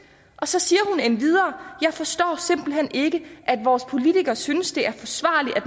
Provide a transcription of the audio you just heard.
og så siger hun endvidere jeg forstår simpelthen ikke at vores politikere synes det er forsvarligt at